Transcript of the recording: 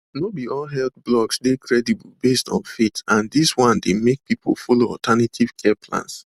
no be all health blogs dey credible based on faith and dis one dey make people follow alternative care plans